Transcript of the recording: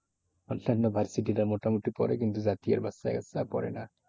versity তে মোটামুটি পরে কিন্তু জাতীয়র বাচ্চাকাচ্চা পরে না।